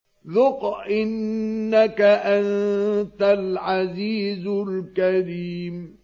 ذُقْ إِنَّكَ أَنتَ الْعَزِيزُ الْكَرِيمُ